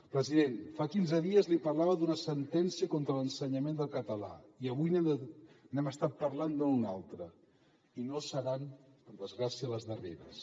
president fa quinze dies li parlava d’una sentència contra l’ensenyament del català i avui hem estat parlant d’una altra i no seran per desgràcia les darreres